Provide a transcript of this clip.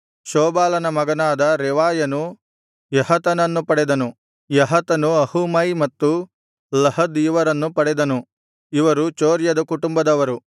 ಶೋಬಾಲನ ಮಗನಾದ ರೆವಾಯನು ಯಹತನನ್ನು ಪಡೆದನು ಯಹತನು ಅಹೂಮೈ ಮತ್ತು ಲಹದ್ ಇವರನ್ನು ಪಡೆದನು ಇವರು ಚೊರ್ರದ ಕುಟುಂಬದವರು